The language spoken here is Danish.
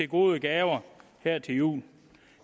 gode gaver her til jul